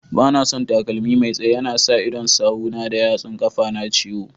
Banason takalmi Mai tsaye, yana sa idon sawu na da yatsun kafa na ciwo.